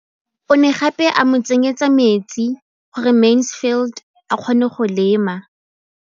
O ne gape a mo tsenyetsa metsi gore Mansfield a kgone go lema.